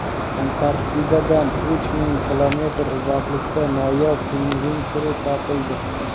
Antarktidadan uch ming kilometr uzoqlikda noyob pingvin turi topildi.